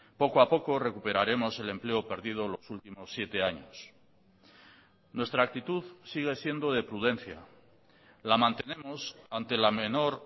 poco a poco recuperaremos el empleo perdido los últimos siete años nuestra actitud sigue siendo de prudencia la mantenemos ante la menor